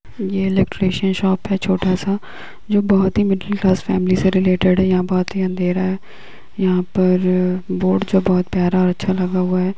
ये electrician shop है छोटा सा जो बहुत ही मिडिल क्लास फैमिली से रिलेटिड है यहाँ बहुत ही अंधेरा है यहाँ पर बोर्ड जो बहुत प्यारा और अच्छा लगा हुआ है।